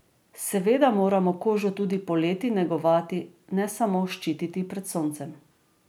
Seveda moramo kožo tudi poleti negovati, ne samo ščititi pred soncem.